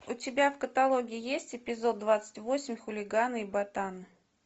у тебя в каталоге есть эпизод двадцать восемь хулиганы и ботаны